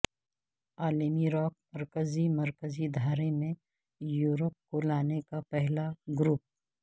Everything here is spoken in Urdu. عالمی راک مرکزی مرکزی دھارے میں یورپ کو لانے کا پہلا گروپ